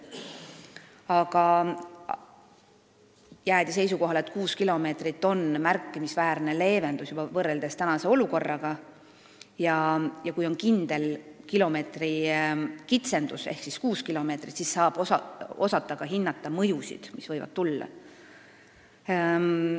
Aga jäädi seisukohale, et juba kuus kilomeetrit on võrreldes praeguse olukorraga märkimisväärne leevendus ja kui on teada kindel kilomeetrite arv ehk kuus kilomeetrit, siis saab ka hinnata mõjusid, mis võivad tekkida.